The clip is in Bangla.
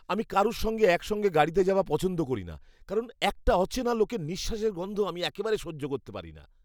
আমি কারুর সঙ্গে একসঙ্গে গাড়িতে যাওয়া পছন্দ করিনা কারণ একটা অচেনা লোকের নিঃশ্বাসের গন্ধ আমি একেবারে সহ্য করতে পারিনা।